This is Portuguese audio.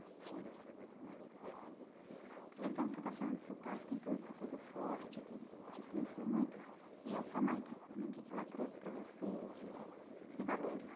Enfim né aproveitando que você está falando do seu pai, que tem toda essa coisa forte, que te influenciou muito, e a sua mãe, o que no que que ela trouxe para você de de valores?